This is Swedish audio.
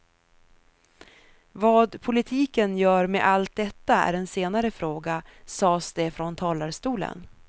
Vad politiken gör med allt detta är en senare fråga, sades det från talarstolen.